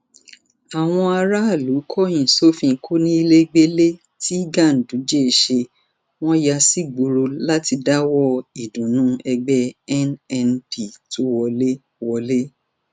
àwọn aráàlú kọyìn sófin kóníléógbẹlé tí ganduje ṣe wọn yà sígboro láti dáwọọ ìdùnnú ẹgbẹ nnp tó wọlẹ wọlẹ